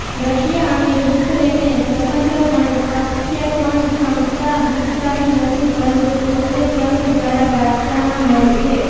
Russia અને યુક્રેને સ્વતંત્રપણે પ્રક્ષેપણ ક્ષમતા વિકસાવી નથી પરંતુ સોવિયેત સંઘ દ્વારા વારસામાં મળી છે